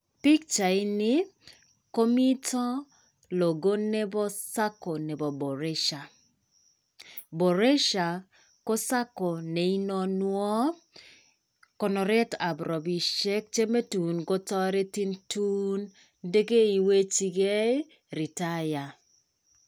Pichaini komito Logo neboo Sacco nebo Boresha. Boresha ko Sacco neinonwoo konoretab robishek chemetun kotaretin tuun ndekeiwechigei retire.